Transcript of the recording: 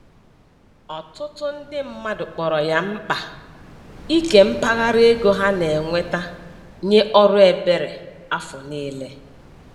Ọtụtụ ndị mmadụ kpọrọ ya mkpa ike mpaghara ego ha na-enweta nye ọrụ ebere afọ niile.